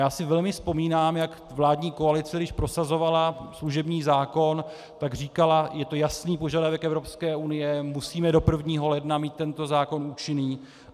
Já si velmi vzpomínám, jak vládní koalice, když prosazovala služební zákon, tak říkala: je to jasný požadavek Evropské unie, musíme do 1. ledna mít tento zákon účinný.